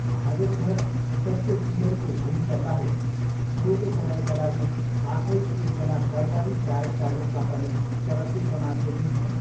भागवथर सत्यसिलनको भूमिकाबाहेक छोटो समयका लागि आफै एकजना दरबारी गायकका रूपमा पनि चलचित्रमा देखिन्छन्।